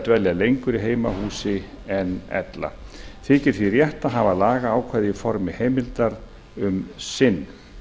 dvelja lengur í heimahúsi en ella þykir því rétt að hafa lagaákvæðið í formi heimildar um sinn